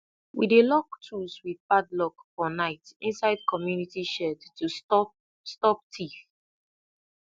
we dey lock tools with padlock for night inside community shed to stop stop thief